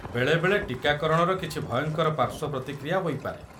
ବେଳେବେଳେ ଟୀକାକରଣର କିଛି ଭୟଙ୍କର ପାର୍ଶ୍ୱ ପ୍ରତିକ୍ରିୟା ହୋଇପାରେ।